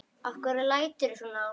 Af hverju læturðu svona Ásta?